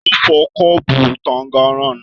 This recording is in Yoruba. Talo fọ kọ́ọ́bú tànganran náà?